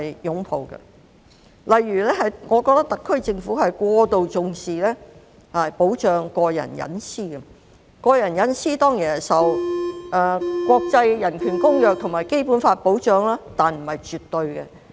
舉例來說，我覺得特區政府過度重視保障個人隱私；個人隱私當然受國際人權公約及《基本法》保障，但這不是絕對的。